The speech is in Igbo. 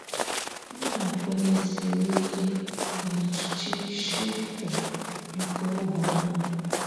Nna kwenyesiri ịke na chi Shinto nke ógbè ahụ